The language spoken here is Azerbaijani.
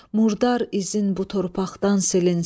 Murdar izin bu torpaqdan silinsin.